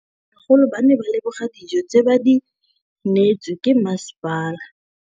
Bagolo ba ne ba leboga dijô tse ba do neêtswe ke masepala.